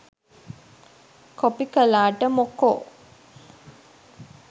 Copy කළාට මොකෝ?